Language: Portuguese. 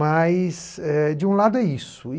de um lado é isso.